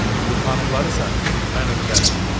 Bu xanımlarısa mən ötürərəm.